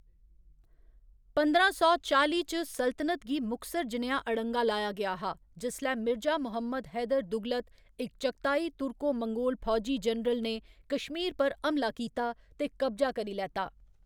पंदरां सौ चाली च, सल्तनत गी मुखसर जनेहा अड़ंगा लाया गेआ हा जिसलै मिर्जा मुहम्मद हैदर दुगलत, इक चगताई तुर्को मंगोल फौजी जनरल ने कश्मीर पर हमला कीता ते कब्जा करी लैता।